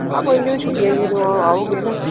ਆਹੋ ਕੋਈ ਨਹੀਂ ਜਦੋ ਛੁੱਟੀਆਂ ਚ ਜਦੋ ਆਉਗੇ ਨਾ।